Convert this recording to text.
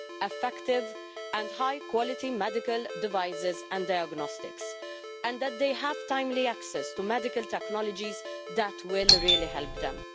effective and high-quality medical devices and diagnostics, and that they have timely access to medical technologies that will really help them.